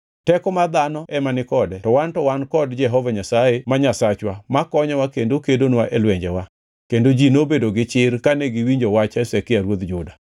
Teko mar dhano ema ni kode to wan to wan kod Jehova Nyasaye ma Nyasachwa makonyowa kendo kedonwa e lwenjewa.” Kendo ji nobedo gi chir kane giwinjo wach Hezekia ruodh Juda.